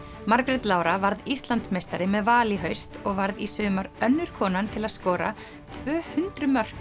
Margrét Lára varð Íslandsmeistari með Val í haust og varð í sumar önnur konan til að skora tvö hundruð mörk